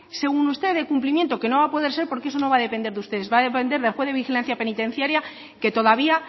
según usted de cumplimiento que no va a poder ser porque eso no va a depender de ustedes va a depender del juez de vigilancia penitenciaria que todavía